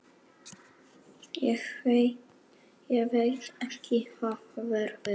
Ég veit ekki hvað verður.